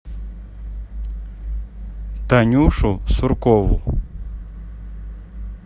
танюшу суркову